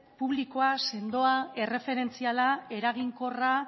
publikoa sendoa erreferentziala eraginkorra